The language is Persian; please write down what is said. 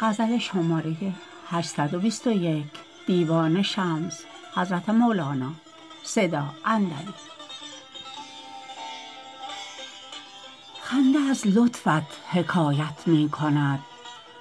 خنده از لطفت حکایت می کند